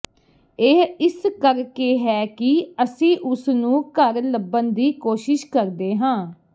ਇਹ ਇਸ ਕਰਕੇ ਹੈ ਕਿ ਅਸੀਂ ਉਸਨੂੰ ਘਰ ਲੱਭਣ ਦੀ ਕੋਸ਼ਿਸ਼ ਕਰਦੇ ਹਾਂ